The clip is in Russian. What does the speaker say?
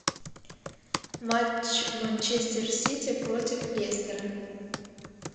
матч манчестер сити против лестера